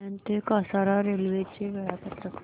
कल्याण ते कसारा रेल्वे चे वेळापत्रक